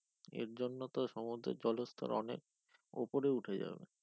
এর জন্য তো সমুদ্রের জলস্থল অনেক উপরে উঠে যাব।